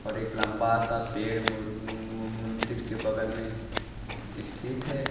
और एक लंबा सा पेड़ मुर मु मंदिर के बगल में स्थित है।